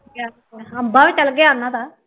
ਅੰਬਾ ਵੀ ਚਲੇ ਗਿਆ ਉਹਨਾਂ ਦਾ